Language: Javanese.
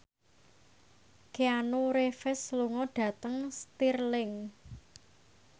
Keanu Reeves lunga dhateng Stirling